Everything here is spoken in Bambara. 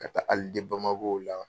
Ka taa BAMAKO la.